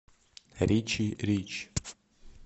ричи рич